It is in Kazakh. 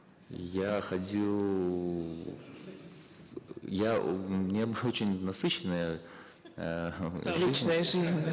я ходил я у меня была очень насыщенная эээ личная жизнь